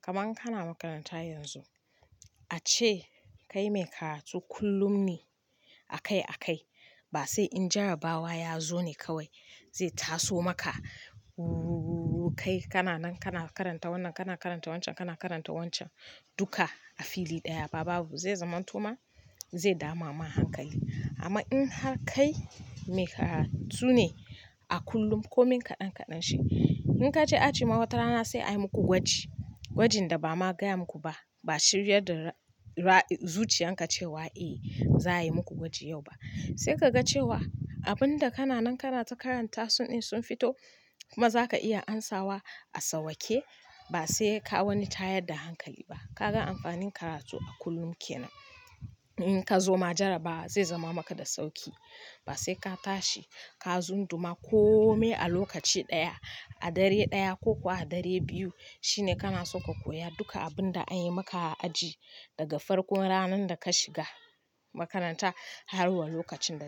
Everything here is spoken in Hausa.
Kaman kana makaranta yanzu ace kai mai karatu kullum ne a kai a kai ba sai in jarabawa ya zo ne kawai zai taso maka. Kai kana nan kana karanta wannan, kana karanta wancan, kana karanta wancan duka a fili ɗaya ba babu. Zai zamanto ma zai dama ma hankali. Amma in har kai mai karatu ne a kullum kome kaɗan kaɗan shi in ka je aji ma watana sai a yi muku gwaji, gwajin da ba ma gaya muku ba, ba shirya da zuciyan ka cewa eh za a yi muku gwaji yau ba. Sai ka ga cewa abun da kana nan kana ta karanta sun in sun fito kuma za ka iya amsawa a sauwaƙe ba sai ka wani tayar da hankali ba. Ka ga amfanin karatu kullum kenan. In ka zo ma jarabawa zai zama maka da sauƙi ba sai ka tashi ka zunduma kome a lokaci ɗaya, a dare ɗaya ko kuwa a dare biyu shine kana so ka koya duka abun da an yi maka a aji daga farkon ranar da ka shiga makaranta har wa lokacin da.